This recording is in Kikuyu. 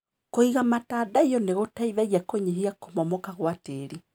Kũiga matandaiyo nĩgũteithagia kũnyihia kũmomoka gwa tĩri.